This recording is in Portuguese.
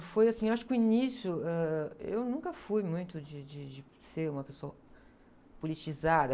Foi assim, acho que o início, ãh... Eu nunca fui muito de, de, de ser uma pessoa politizada.